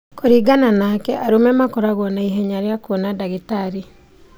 kũringana nake arũme makoragwo na ihenya rĩa kũona dagitarĩ